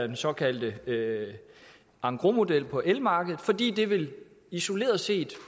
den såkaldte engrosmodel på elmarkedet fordi den isoleret set